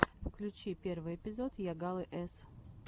включи первый эпизод йагалы с